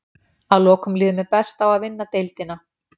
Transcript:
Að lokum líður mér best á að vinna deildina.